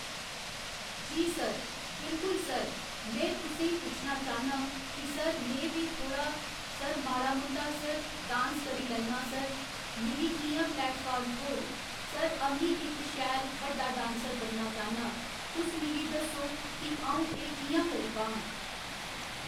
जी sir बिल्कुल sir में तुसें ई पुच्छना चाह्न्नां कि सर में बी थोह्ड़ा सर माड़ा मुट्टा सर डांस करी लैन्ना सर मिगी कि'यां प्लैटफार्म थ्होग सर अ'म्मी इक शैल बड्डा डांसर बनना चाह्न्नां तुस मिगी दस्सो कि अ'ऊं एह् कि'यां करी पाह्ङ?